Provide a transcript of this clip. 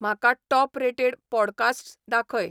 म्हाका top rated podcasts दाखय